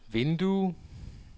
vindue